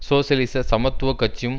சோசியலிச சமத்துவ கட்சியும்